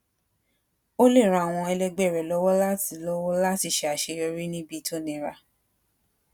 ó lè ran àwọn ẹlẹgbẹ rẹ lọwọ láti lọwọ láti ṣe aseyori nibi to nira